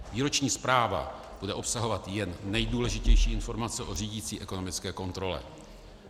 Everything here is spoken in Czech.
Výroční zpráva bude obsahovat jen nejdůležitější informace o řídicí ekonomické kontrole.